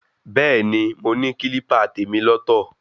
Bẹ́ẹ̀ni, mo ní kílípà tèmi lọ́ tọ̀.